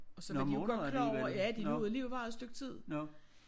Og så var de jo godt klar over ja de nåede alligevel være der et stykke tid